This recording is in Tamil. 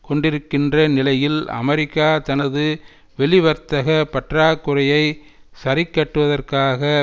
கொண்டிருக்கின்ற நிலையில் அமெரிக்கா தனது வெளிவர்த்தக பற்றாக்குறையை சரிக்கட்டுவதற்காக